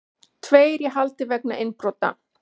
Tveir í haldi vegna innbrota